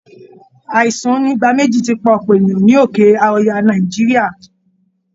Aìsàn onígbáméjì ti pa ọ̀pọ̀ èèyàn ní òkè ọya nàìjíríà